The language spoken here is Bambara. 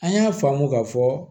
An y'a faamu ka fɔ